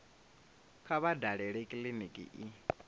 kha vha dalele kiliniki i